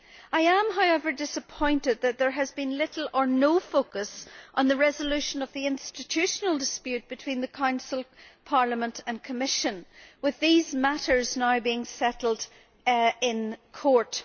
I am, however, disappointed that there has been little or no focus on the resolution of the institutional dispute between the Council, Parliament and Commission, with these matters now being settled in court.